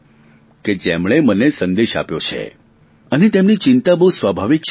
કે જેમણે મને સંદેશ આપ્યો છે અને તેમની ચિંતા બહુ સ્વાભાવિક છે